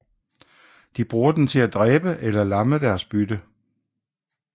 De bruger den til at dræbe eller lamme deres bytte